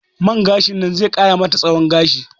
Man gashin nan ze ƙara mata tsahon gashi